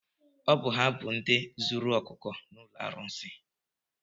Ọ bụ ha bụ ndị zuru ọkụkọ n'ụlọ arụsị?